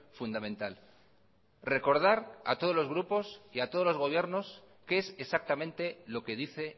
fundamental recordar a todos los grupos y a todos los gobiernos qué es exactamente lo que dice